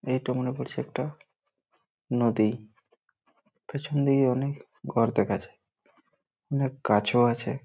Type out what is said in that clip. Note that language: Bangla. এটা মনে করছে একটা নদী পিছন দিকে অনেক ঘর দেখা যায় অনেক গাছও আছে।